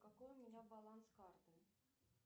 какой у меня баланс карты